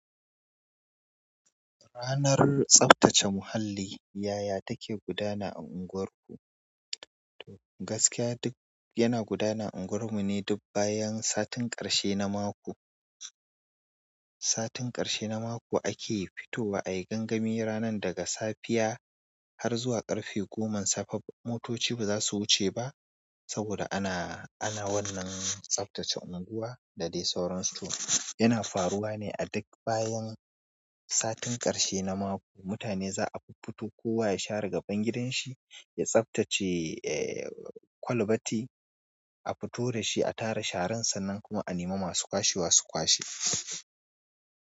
Ranar tsaftace muhalli, yaya take gudana a unguwarku? Gaskiya duk yana gudana a unguwar mu ne duk bayan satin ƙarshe na mako. Satin ƙarshe na mako ake fitowa ayi gangami ranar daga safiya har zuwa ƙarfe goma. Sababbin motoci baza su wuce ba saboda ana, ana wannan tsaftace unguwa da "Da dai sauran su yana faruwa ne a duk bayan satin ƙarshe na mako. Mutane za a fuffuto kowa ya sha rigaban gidan shi, ya tsaftace, eh kwalbati a fito da shi, a tara sharan sa nan kuma a nema masu kwashe su kwashe.